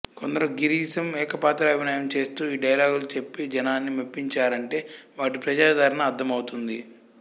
కొందరు గిరీశం ఏకపాత్రాభినయం చేస్తూ ఈ డైలాగులు చెప్పి జనాన్ని మెప్పించారంటే వాటి ప్రజాదరణ అర్థమవుతుంది